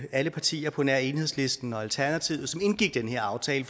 alle partier på nær enhedslisten og alternativet som indgik den her aftale